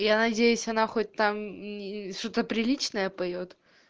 я надеюсь она хоть там не что-то приличное поёт